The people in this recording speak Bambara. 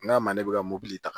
N k'a ma ne bɛ ka mobili ta